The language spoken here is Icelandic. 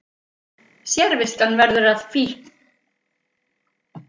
Sérviskan verður að fíkn